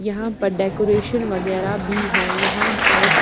यहाँ पर डेकोरेशन वगैरह भी है यहाँ पर--